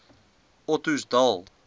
ottosdal